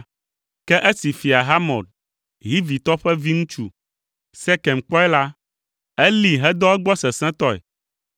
Ke esi Fia Hamor, Hivitɔ ƒe viŋutsu, Sekem kpɔe la, elée hedɔ egbɔ sesẽtɔe.